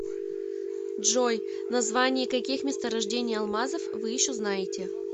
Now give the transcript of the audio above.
джой названия каких месторождений алмазов вы еще знаете